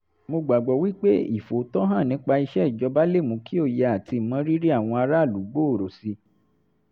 mo gbàgbọ́ wí pé ìfòòtọ́ hàn nípa iṣẹ́ ìjọba lè mú kí òye àti ìmọrírì àwọn aráàlú gbòòrò sí i